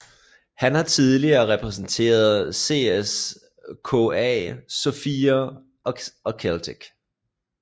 Han har tidligere repræsenteret CSKA Sofia og Celtic